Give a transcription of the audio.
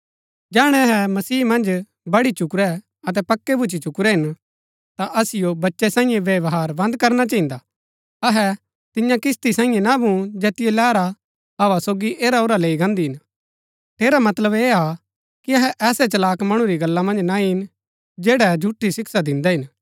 जैहणै अहै मसीह मन्ज बढी चुकुरै अतै पक्कै भूच्ची चुकुरै हिन ता असिओ बच्चै सांईये व्यवहार बंद करना चहिन्दा अहै तिन्या किस्ती सांईये ना भून जैतिओ लैहरा हव्वा सोगी ऐराऔरा लैई गान्दी हिन ठेरा मतलब ऐह हा कि अहै ऐसै चलाक मणु री गल्ला मन्ज ना ईन जैड़ै झूठी शिक्षा दिन्दै हिन